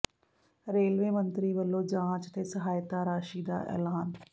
railway ਮੰਤਰੀ ਵੱਲੋਂ ਜਾਂਚ ਤੇ ਸਹਾਇਤਾ ਰਾਸ਼ੀ ਦਾ ਐਲਾਨ